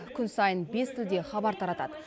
күн сайын бес тілде хабар таратады